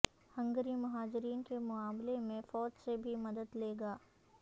Hungary مہاجرین کے معاملے میں فوج سے بھی مدد لے گا